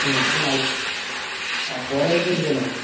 ହୁଁ। ଆଉ current କୋଉଠୁ କଣ ଆଣିବ?